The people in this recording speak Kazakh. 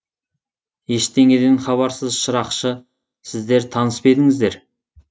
ештеңеден хабарсыз шырақшы сіздер таныс па едіңіздер